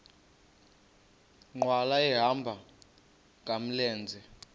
nkqwala ehamba ngamlenze